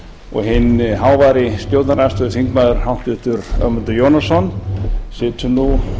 og hinn háværi stjórnarandstöðuþingmaður háttvirtur ögmundur jónasson situr nú